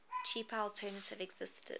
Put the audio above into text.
cheaper alternative existed